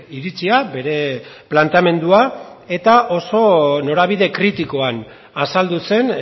iritzia bere planteamendua eta oso norabide kritikoan azaldu zen